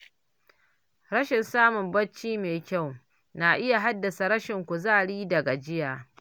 Rashin samun bacci mai kyau na iya haddasa rashin kuzari da gajiya.